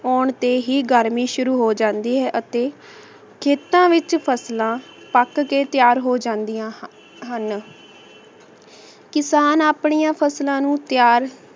ਆਉਣ ਤੇ ਹੀ ਗਰਮੀ ਸੁਰੂ ਹੋ ਜਾਂਦੀ ਅਤੀ ਖੇਤਾਂ ਵਿਚ ਫਸਲਾਂ ਪਾਕ ਕੇ ਤਯ੍ਯਾਰ ਹੋ ਜਾਨ੍ਦਿਯਾਂ ਹਨ ਕਿਸਾਨ ਅਪ੍ਨਿਯਾਂ ਫਸਲਾਂ ਨੂ ਤਯ੍ਯਾਰ